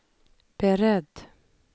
beredd